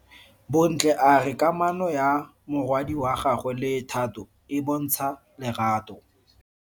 Bontle a re kamano ya morwadi wa gagwe le Thato e bontsha lerato.